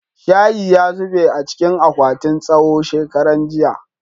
shayi ya zube a cikin akwatin tsawo shekaran jiya